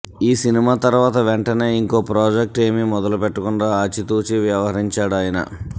ఈ సినిమా తర్వాత వెంటనే ఇంకో ప్రాజెక్టేమీ మొదలుపెట్టకుడా ఆచితూచి వ్యవహరించాడాయన